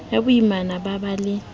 ya boimana ba ba le